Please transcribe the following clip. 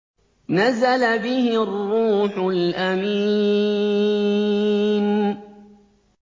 نَزَلَ بِهِ الرُّوحُ الْأَمِينُ